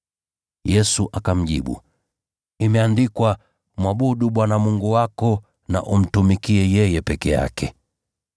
Yesu akamjibu, “Imeandikwa: ‘Mwabudu Bwana Mungu wako na umtumikie yeye peke yake.’ ”